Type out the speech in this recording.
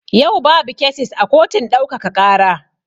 Yau babu kesis a kotun ɗaukaka ƙara.